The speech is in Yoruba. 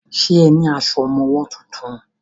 Ṣe ní aṣọ ọmọwọ́ tuntun?